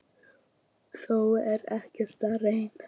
Þó er ég að reyna!